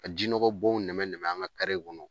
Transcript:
Ka jinɔgɔ bɔnw nɛmɛ nɛmɛ an ŋa kɔnɔ.